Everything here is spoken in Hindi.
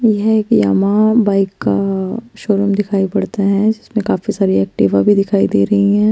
यह एक यामा बाईक का शो रुम दिखाई पड़ता है जिसमे काफी सारी एक्टिवा भी दिखाई दे रही है।